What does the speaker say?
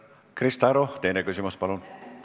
Krista Aru, teine küsimus, palun!